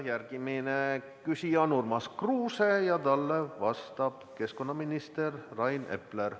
Järgmine küsija on Urmas Kruuse ja talle vastab keskkonnaminister Rain Epler.